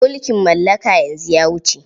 Mulkin mallaka yanzu ya wuce.